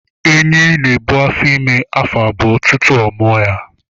Enyi n'ebu afọ ime ya afọ abụọ tutu ọ mua ya.